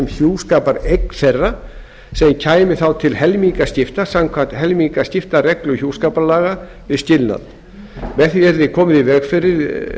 hjúskapareign þeirra sem kæmi þá til helmingaskipta samkvæmt helmingaskiptareglu hjúskaparlaga við skilnað með því yrði komið í veg fyrir